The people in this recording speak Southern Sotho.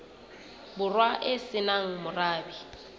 borwa e se nang morabe